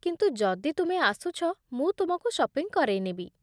କିନ୍ତୁ ଯଦି ତୁମେ ଆସୁଛ, ମୁଁ ତୁମକୁ ସପିଂ କରେଇ ନେବି ।